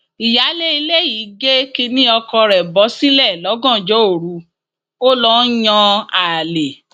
ìyáálé ilé yìí gé kínní ọkọ rẹ bọ sílẹ lọgànjọ òru ó lọ ń yan àlè